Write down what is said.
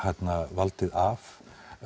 valdið af